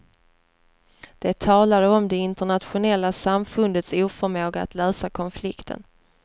De talade om det internationella samfundets oförmåga att lösa konflikten.